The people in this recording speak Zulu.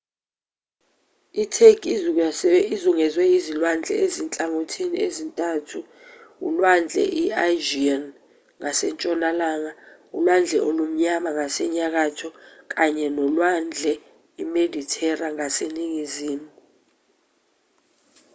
itheki izungezwe izilwandle ezinhlangothini ezintathu ulwandle i-aegean ngasentshonalanga ulwandle olumnyama ngasenyakatho kanye nolwandle imedithera ngaseningizimu